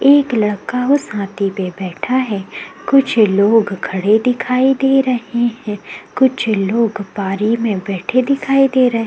एक लड़का उस हाथी पे बैठा है कुछ लोग खड़े दिखाई दे रहें हैं कुछ लोग बारी में बैठे दिखाई दे रहें --